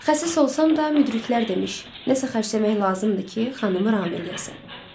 Xəsis olsam da, müdriklər demiş, nəsə xərcləmək lazımdır ki, xanımı ram eləyəsən.